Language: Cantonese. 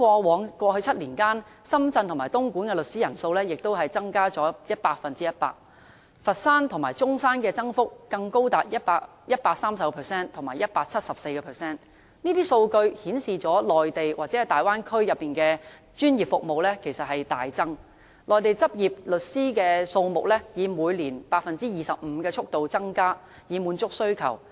在過去7年間，深圳和東莞的律師人數也增加了 100%， 佛山和中山的增幅更高達 130% 和 174%， 這些數據顯示內地或大灣區的專業服務需求大增，內地執業律師的數目以每年 25% 的速度增加，以滿足需求。